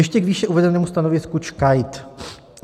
Ještě k výše uvedenému stanovisku ČKAIT.